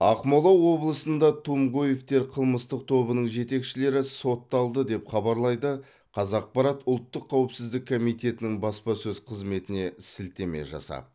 ақмола облысында тумгоевтер қылмыстық тобының жетекшілері сотталды деп хабарлайды қазақпарат ұлттық қауіпсіздік комитетінің баспасөз қызметіне сілтеме жасап